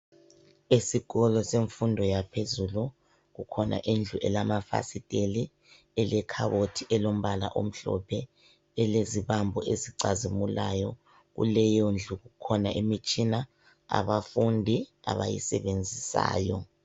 Esikolo sefundo yaphezulu kukhona indlu esilamafasiteli elekhabothi elombala omhlophe elezibambo ezicazimulayo kuleyondlu kukhona imitshina abafundi abayisebenzisayo.